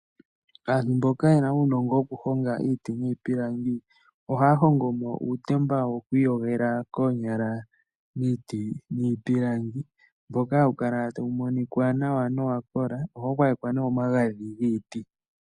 Aantu mboka yena uunongo wo kuhonga iiti niipilangi, ohaya hongo mo uutemba woku iyogela koonyala miiti niipilangi, mboka hawu kala tawu monika nawa no wakola. Ohau gwayekwa nee omagadhi giiti..